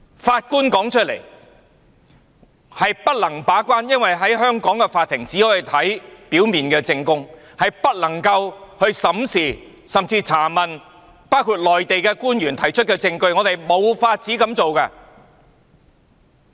法官說他們不能把關，因為在香港，法庭只可以看表面證供，但不能審視甚至查問包括內地官員提出的證據，他們是無法這樣做的。